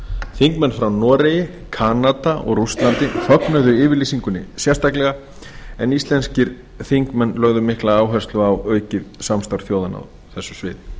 þingmenn frá noregi kanada og rússlandi fögnuðu yfirlýsingunni sérstaklega en íslenskir þingmenn lögðu mikla áherslu á aukið samstarf þjóðanna á þessu sviði